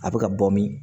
A bɛ ka bɔ min